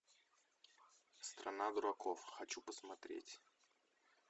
страна дураков хочу посмотреть